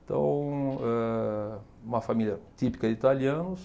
Então, eh uma família típica de italianos,